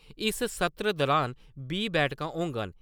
इस सत्र दुरान बीह् बैठकां होङन।